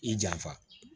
I janfa